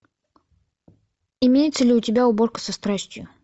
имеется ли у тебя уборка со страстью